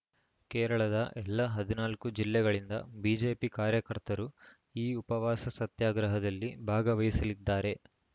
ಕೇರಳದ ಎಲ್ಲ ಹದಿನಾಲ್ಕು ಜಿಲ್ಲೆಗಳಿಂದ ಬಿಜೆಪಿ ಕಾರ್ಯಕರ್ತರು ಈ ಉಪವಾಸ ಸತ್ಯಾಗ್ರಹದಲ್ಲಿ ಭಾಗವಹಿಸಲಿದ್ದಾರೆ